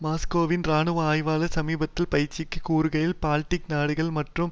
மாஸ்கோவின் இராணுவ ஆய்வாளர் சமீபத்தில் பிபிசியிற்கு கூறுகையில் பால்டிக் நாடுகள் மற்றும்